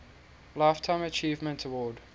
lifetime achievement award